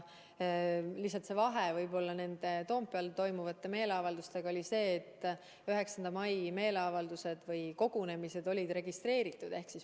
Lihtsalt vahe nende Toompeal toimunud meeleavaldustega oli selles, et 9. mai kogunemised olid registreeritud.